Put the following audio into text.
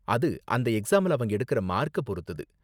அது அந்த எக்ஸாம்ல அவங்க எடுக்குற மார்க்க பொறுத்தது.